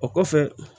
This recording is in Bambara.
O kɔfɛ